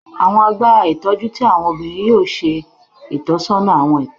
Awọn agbara itọju ti awọn obinrin yoo ṣe itọsọna awọn ipinnu